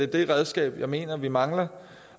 det redskab jeg mener vi mangler